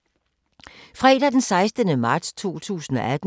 Fredag d. 16. marts 2018